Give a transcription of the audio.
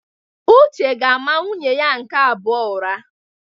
Uche ga-ama nwunye ya nke abụọ ụra.